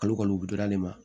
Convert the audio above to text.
Kalo kalo wotoro de ma